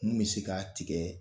Mun bɛ se k'a tigɛ